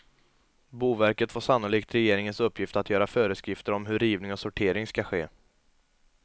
Boverket får sannolikt regeringens uppgift att göra föreskrifter om hur rivning och sortering skall ske.